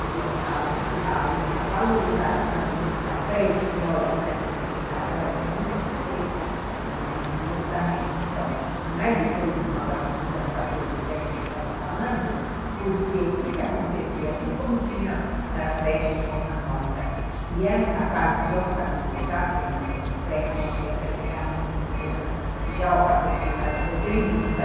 E a valorização da pré-escola que está sendo feita agora, que nunca foi feita, mas justamente, então, não é de todo mal essa mudança toda que a gente estava falando, porque o que acontecia, assim como tinha creches como a nossa, que eram capazes de alfabetizar as crianças no pré, então a criança chegava no primeiro ano já alfabetizada e podendo, então,